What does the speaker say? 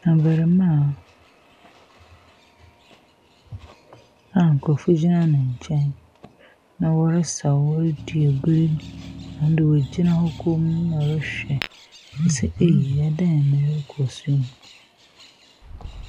Abarimmaa a nkorɔfoɔ egyina ne nkyɛn na ɔresaw, ɔredi agoro na ɔgyina hɔ komm na ɔrehwɛ, ɔse ei adeɛn na ɛrekɔ so yi.